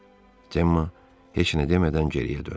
Cemma heç nə demədən geriyə döndü.